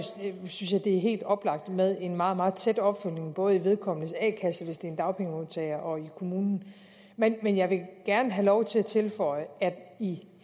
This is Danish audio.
synes jeg det er helt oplagt med en meget meget tæt opfølgning både i vedkommendes a kasse hvis det er en dagpengemodtager og i kommunen men jeg vil gerne have lov til at tilføje at i